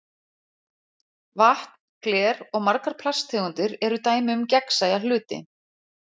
Vatn, gler og margar plasttegundir eru dæmi um gegnsæja hluti.